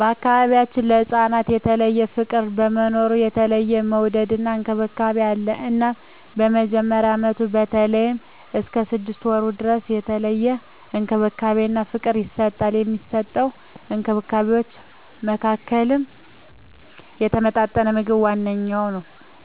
በገንፎ ቢያችን ለህፃናት የተለየ ፍቅር በመኖሩ የተለየ መወደድና እንክብካቤ አለ እናም በመጀመሪያ አመቱ በተለይም እስከ ስድስት ወሩ ድረስ የተለየ እንክብካቤና ፍቅር ይሰጠዋል። ከሚሰጠዉ እንክብካቤወች መካከልም የተመጣጠነ ምግብ ዋነኛዉ